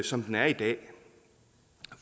som den er i dag